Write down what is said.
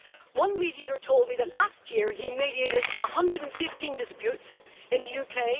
One mediator told me that last year he mediated 115 disputes in the UK.